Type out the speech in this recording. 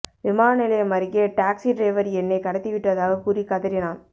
விமான நிலையம் அருகே டாக்சி டிரைவர் என்னை கடத்தி விட்டதாக கூறி கதறினான்